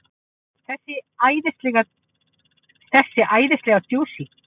Þessi æðislega djúsí!